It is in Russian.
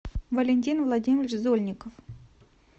валентин владимирович зольников